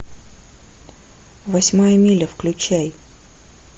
восьмая миля включай